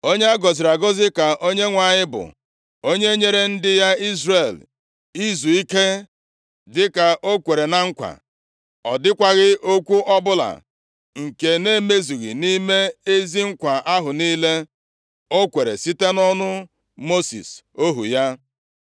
“Onye a gọziri agọzi ka Onyenwe anyị bụ, onye nyere ndị ya, Izrel izuike dịka o kwere na nkwa. Ọ dịkwaghị okwu ọbụla nke na-emezughị nʼime ezi nkwa ahụ niile o kwere site nʼọnụ Mosis ohu ya.